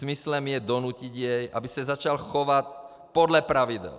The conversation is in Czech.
Smyslem je donutit jej, aby se začal chovat podle pravidel.